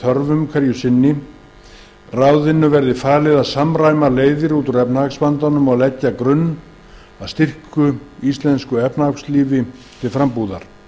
þörfum hverju sinni ráðinu verði falið að samræma leiðir út úr efnahagsvandanum og leggja grunn að styrku íslensku efnahagslífi til frambúðar